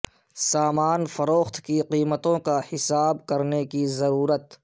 سامان فروخت کی قیمتوں کا حساب کرنے کی ضرورت ہے